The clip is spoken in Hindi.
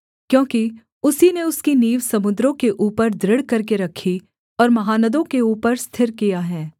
क्योंकि उसी ने उसकी नींव समुद्रों के ऊपर दृढ़ करके रखी और महानदों के ऊपर स्थिर किया है